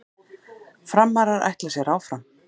Framarar ætla sér áfram